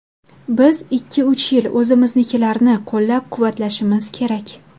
Biz ikki-uch yil o‘zimiznikilarni qo‘llab-quvvatlashimiz kerak.